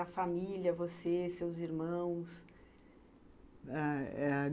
A família, você, seus irmãos? ah...